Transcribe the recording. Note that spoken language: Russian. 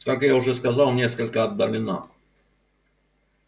как я уже сказал несколько отдалена